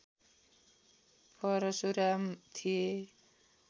परशुराम थिए